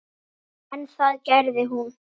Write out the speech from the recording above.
En það gerði hún.